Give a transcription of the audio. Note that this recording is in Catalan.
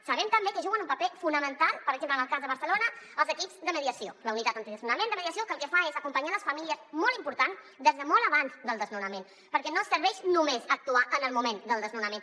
sabem també que juguen un paper fonamental per exemple en el cas de barce·lona els equips de mediació la unitat antidesnonaments de mediació que el que fa és acompanyar les famílies molt important des de molt abans del desnonament perquè no serveix només actuar en el moment del desnonament